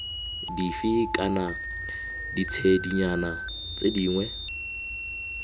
dife kana ditshedinyana tse dingwe